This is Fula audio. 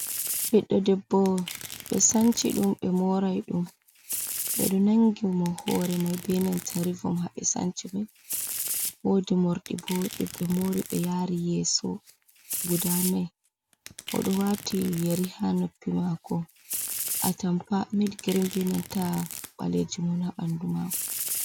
Biɗɗo ɗebbo be sanci ɗum be morai dum. Beɗo nangi mo hore mai be nenta rivom ha be sanci mai. Wodi mordi bo dum be mori be yari yeso, guda nai odo wati yeri ha noppi mako. Atampa mid girim ba nanta balejim un ha banɗu mako.